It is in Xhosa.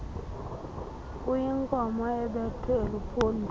uyinkomo ebethwe eluphondweni